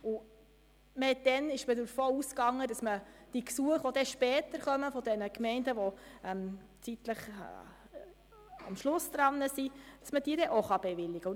Damals ging man davon aus, dass die Gesuche der Gemeinden, welche später kommen, denjenigen Gemeinden, welche am Schluss an der Reihe sind, auch bewilligt werden können.